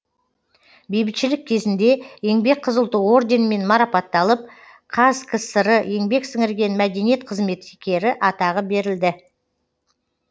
бейбітшілік кезінде еңбек қызыл ту орденімен марапатталып қазкср еңбек сіңірген мәдениет қызметкері атағы берілді